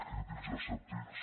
crítics i escèptics